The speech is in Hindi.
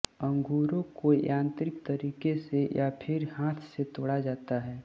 अंगूरों को यांत्रिक तरीके से या फिर हाथ से तोड़ा जाता है